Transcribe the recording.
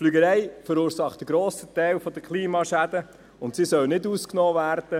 Die Fliegerei verursacht einen grossen Teil der Klimaschäden, und sie soll nicht ausgenommen werden.